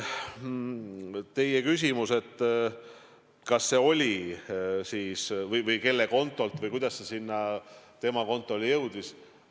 Teie küsimus, kelle kontolt või kuidas see raha tema kontole jõudis.